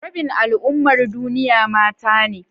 Rabin al'ummar duniya mata ne.